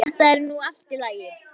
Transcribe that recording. Jæja, þetta er nú allt í lagi.